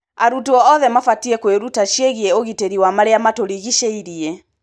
Arutwo othe mabatiĩ kwĩruta ciĩgiĩ ũgitĩri wa marĩa matũrigicĩirie.